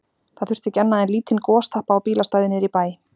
Það þurfti ekki annað en lítinn gostappa á bílastæði niðri í bæ.